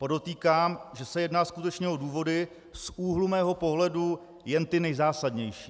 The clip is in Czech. Podotýkám, že se jedná skutečně o důvody z úhlu mého pohledu jen ty nejzásadnější.